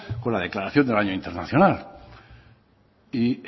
con la declaración del año internacional y